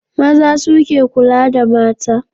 Maza suke kula da mata.